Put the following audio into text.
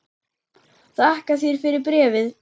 Þakka þér fyrir bréfið!